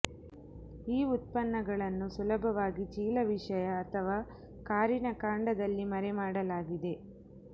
ಈ ಉತ್ಪನ್ನಗಳನ್ನು ಸುಲಭವಾಗಿ ಚೀಲ ವಿಷಯ ಅಥವಾ ಕಾರಿನ ಕಾಂಡದಲ್ಲಿ ಮರೆಮಾಡಲಾಗಿದೆ